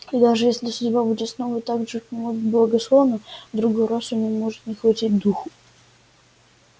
и даже если судьба будет снова так же к нему благосклонна в другой раз у него может не хватить духу